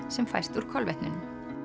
sem fæst úr kolvetnunum